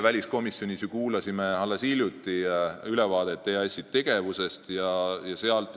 Me kuulasime alles hiljuti väliskomisjonis EAS-i tegevuse ülevaadet.